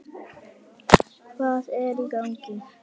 Hvað er í gangi!